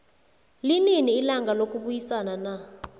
linini ilanga lokubayisana na